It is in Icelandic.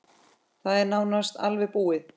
Það er nánast alveg búið.